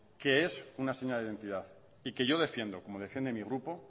que es una señal de identidad y que yo defiendo como defiende mi grupo